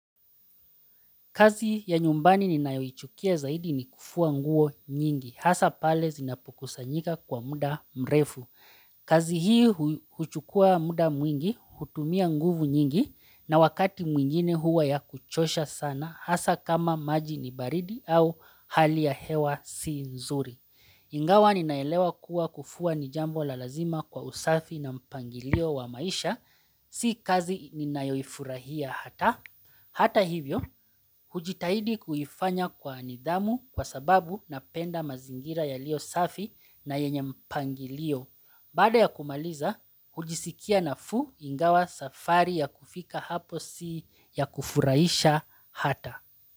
Kazi ya nyumbani ni nayoichukia zaidi ni kufua nguo nyingi, hasa pale zinapukusa njika kwa muda mrefu. Kazi hii huchukua muda mwingi, hutumia nguvu nyingi, na wakati mwingine huwa ya kuchosha sana, hasa kama maji ni baridi au hali ya hewa si nzuri. Ingawa ni naelewa kuwa kufua ni jambo la lazima kwa usafi na mpangilio wa maisha, si kazi ni nayoifurahia hata. Hata hivyo, hujitahidi kuhifanya kwa anidhamu kwa sababu napenda mazingira ya lio safi na yenye mpangi lio. Bada ya kumaliza, hujisikia na fu ingawa safari ya kufika hapo si ya kufuraisha hata.